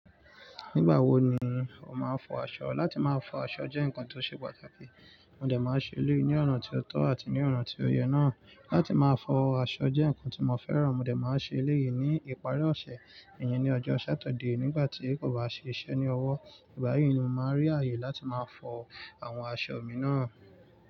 Nígbà wo ni o máa ń fọ aṣọ? Láti máa fọ aṣọ jẹ́ ǹkan tó ṣé patàkí mo de máa ń ṣe eléyìí ní ọ̀nà tí ó tọ́ àti ní ọ̀nà tí ó yẹ náà. Láti máa fọ aṣọ jẹ́ nǹkan tí mo fẹ́ràn. Mo de máa ń ṣe eléyìí ní ìparí ọ̀sẹ̀. Ìyẹn ni ọjọ́ Saturday nígbà tí kò bá ṣe iṣẹ́ ní ọwọ́. Ìgbà yí ni mo máa rí àyè láti máa fọ àwọn aṣọ mi náà.